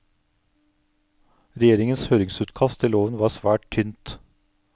Regjeringens høringsutkast til loven var svært tynt.